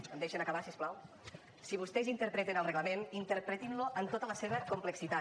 em deixen acabar si us plau si vostès interpreten el reglament interpretin lo en tota la seva complexitat